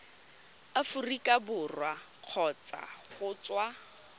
aforika borwa kgotsa go tswa